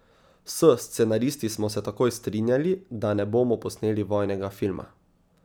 S scenaristi smo se takoj strinjali, da ne bomo posneli vojnega filma.